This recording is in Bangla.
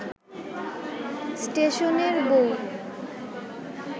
স্টেশনের বউ